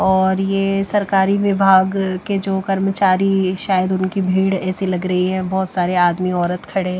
और ये सरकारी विभाग के जो कर्मचारी शायद उनकी भीड़ ऐसी लग रही है बहुत सारे आदमी औरत खड़े --